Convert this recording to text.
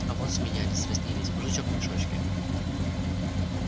а вот смеялись дразнились мужичок в мешочке